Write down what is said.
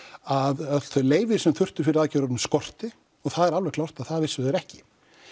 að öll þau leyfi sem þurfti fyrir aðgerðina skorti og það er alveg klárt að það vissu þeir ekki